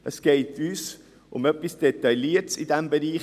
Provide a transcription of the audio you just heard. Es geht uns um etwas Detailliertes innerhalb dieses Bereichs.